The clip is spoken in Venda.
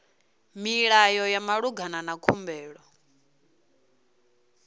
milayo ya malugana na khumbelo